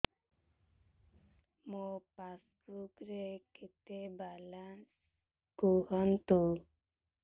ମୋ ପାସବୁକ୍ ରେ କେତେ ବାଲାନ୍ସ କୁହନ୍ତୁ